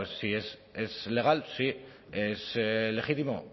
pues si es legal sí es legítimo